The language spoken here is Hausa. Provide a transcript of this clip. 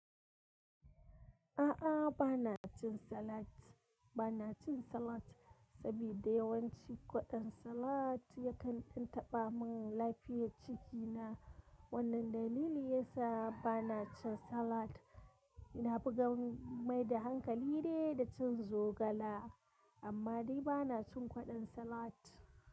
A'a, ba na cin salat. Ba na cin salat saboda yawanci kwaɗon salat yakan ɗan taɓa mun lafiyar cikina. Wannan dalili yasa ba na cin salat. Na ganin mai da hankali de da cin zogala amma dai ba na cin kwaɗon salat.